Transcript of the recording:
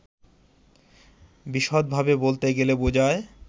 বিশদভাবে বলতে গেলে বুঝায়